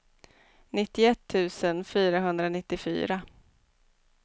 nittioett tusen fyrahundranittiofyra